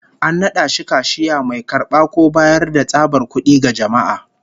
An nada shi kashiya, mai karba ko bayar da tsabar kud'i ga jama'a